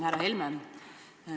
Härra Helme!